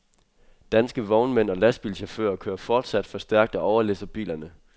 Danske vognmænd og lastbilchauffører kører fortsat for stærkt og overlæsser bilerne.